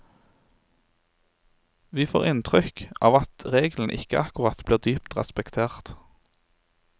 Vi får inntrykk av at regelen ikke akkurat blir dypt respektert.